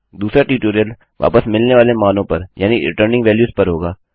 दूसरा ट्यूटोरियल वापस मिलने वाले मानों पर यानि रिटर्निंग वेल्यूज़ पर होगा